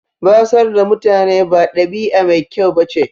Batsar da mutane ba ɗabi'a mai kyau ba ce.